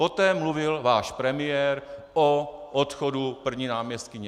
Poté mluvil váš premiér o odchodu první náměstkyně.